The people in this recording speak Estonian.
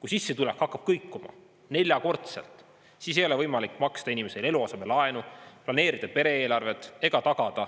Kui sissetulek hakkab kõikuma neljakordselt, siis ei ole võimalik maksta inimestele eluasemelaenu, planeerida pere-eelarvet ega tagada